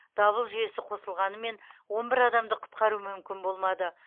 дабыл жүйесі қосылғанымен он бір адамды құтқару мүмкін болмады